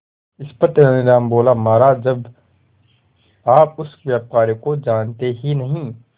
इस पर तेनालीराम बोला महाराज जब आप उस व्यापारी को जानते ही नहीं